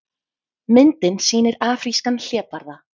Myndin sýnir afrískan hlébarða.